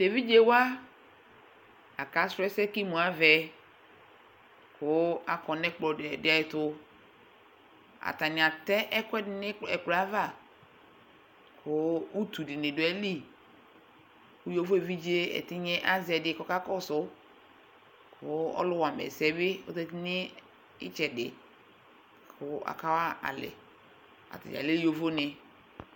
Evidjé wua akasu ɛsɛ ku imu avɛ ku akɔnu ɛkplɔ ditu Atani atɛ ɛkuɛdi nu ɛkplɔɛ ava ku utu dini du aɣiliku ɣovo evidjé dini azɛ di kaka kɔsu Ku ɔlu wama ɛsɛbi zatinu itsɛdi laku aka wɔalɛ Atani alɛ yovoni